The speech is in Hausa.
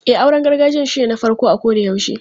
E, auren gargajiyan shine na farko a kodayaushe.